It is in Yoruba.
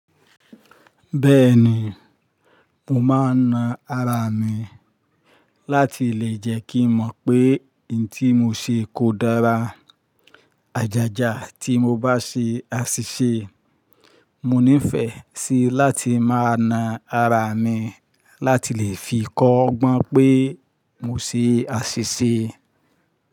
Bẹ́ẹ̀ni, mo máa ń na ara mi láti lè jẹ́ kí n mọ̀ pé hin tí mo ṣe kò dára. Àjájá tí mo bá ṣe á ṣì ṣe. Mo nífẹ̀ẹ́ sí láti máa na ara mi láti lè fi kọ́gbọ́n pé mo ṣe á ṣì ṣe.